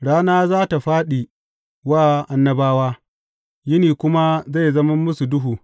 Rana za tă fāɗi wa annabawa, yini kuma zai zama musu duhu.